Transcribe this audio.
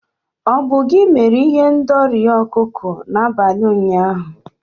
Ọ bụ gị mere ihendori ọkụkọ n'abalị ụnyaahụ?